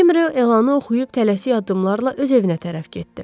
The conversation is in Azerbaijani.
Həkim Ryo elanı oxuyub tələsik addımlarla öz evinə tərəf getdi.